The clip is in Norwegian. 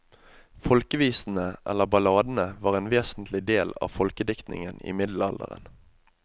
Folkevisene, eller balladene, var en vesentlig del av folkediktningen i middelalderen.